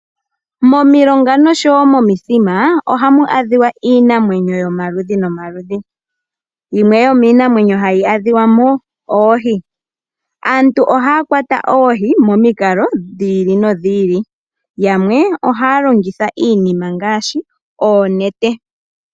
Momilonga noshowo momithima ohamu adhika iinamwenyo yomaludhi nomaludhi. Yimwe yomiinamwenyo hayi adhika mo oohi. Aantu ohaya kwata oohi momikalo dhi ili nodhi ili, yamwe ohaya longitha iinima ngaashi oonete.